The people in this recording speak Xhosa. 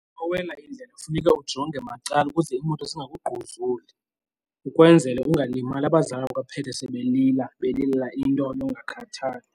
Xa uwela indlela funeka ujonge macala ukuze iimoto zingakugquzuli ukwenzele ungalimali, abazali baphethe sebelila belilela into yokungakhathali.